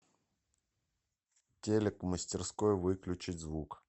телек в мастерской выключить звук